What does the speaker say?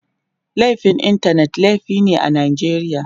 Laifin Intanet laifi ne a Najeriya.